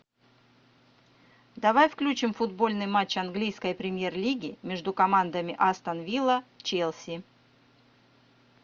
давай включим футбольный матч английской премьер лиги между командами астон вилла челси